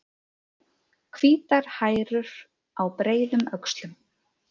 Hvítar hærur á breiðum öxlum.